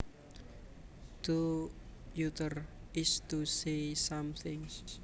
To utter is to say something